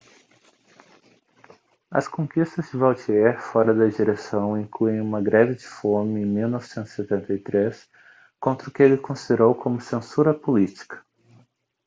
as conquistas de vautier fora da direção incluem uma greve de fome em 1973 contra o que ele considerou como censura política